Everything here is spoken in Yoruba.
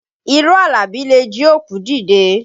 Irọ́ Àlàbí le jí òkú dìde